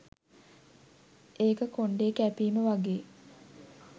ඒක කොන්ඩේ කැපීම වගේ